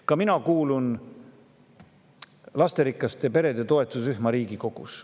Ka mina kuulun lasterikaste perede toetusrühma Riigikogus.